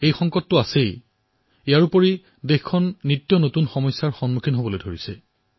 এই সংকটৰ লগতে নিতৌ নতুন প্ৰত্যাহ্বানো আমাৰ সন্মুখত উপস্থিত হৈছে